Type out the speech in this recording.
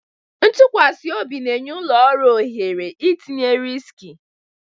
Ntụkwasị obi na-enye ụlọ ọrụ ohere itinye riski